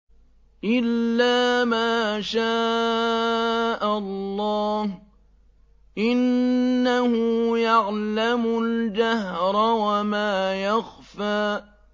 إِلَّا مَا شَاءَ اللَّهُ ۚ إِنَّهُ يَعْلَمُ الْجَهْرَ وَمَا يَخْفَىٰ